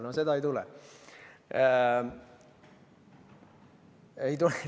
No seda ei tule.